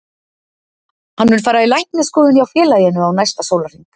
Hann mun fara í læknisskoðun hjá félaginu á næsta sólarhring.